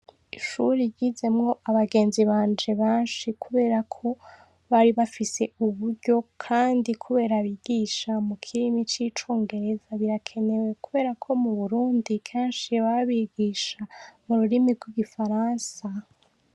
Ishure ryizemwo abagenzi banje benshi kuberako bari bafise uburyo kandi kubera bigisha mukirimi cicongereza birakenewe kubera ko muburundi kenshi baba bigisha mururimi rwigifaransa